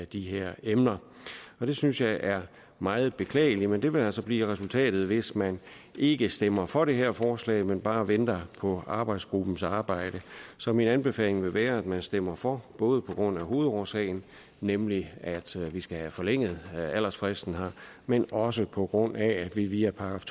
de her emner det synes jeg er meget beklageligt men det vil altså blive resultatet hvis man ikke stemmer for det her forslag men bare venter på arbejdsgruppens arbejde så min anbefaling vil være at man stemmer for både på grund af hovedårsagen nemlig at vi skal have forlænget aldersfristen her men også på grund af at vi via §